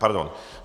Pardon.